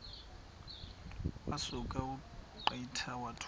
wasuka ungqika wathuma